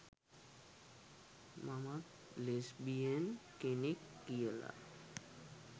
මමත් ලෙස්බියන් කෙනෙක්" කියලා